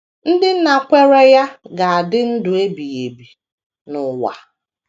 Ndị nakweere ya ga - adị ndụ ebighị ebi n’ụwa.